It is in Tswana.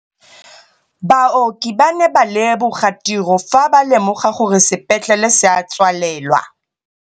Baoki ba ne ba leboga tirô fa ba lemoga gore sepetlelê se a tswalelwa.